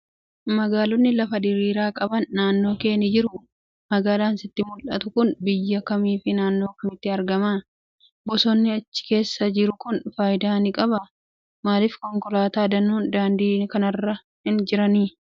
Magaalonni lafa diriiraa qaban naannoo kee ni jiruu? Magaalaan sitti mul'attu kun biyya kamii fi naannoo kamitti argamti? Bosonni achi keessa jiru kun faayidaa ni qabaa? Maaliif konkolaataa danuun daandii kanarra hin jiran?